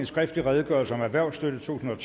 skriftlig redegørelse om erhvervsstøtte totusinde og